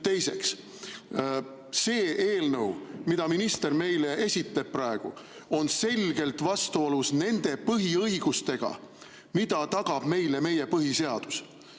Teiseks, see eelnõu, mida minister meile praegu esitleb, on selgelt vastuolus nende põhiõigustega, mida tagab meile meie põhiseadus.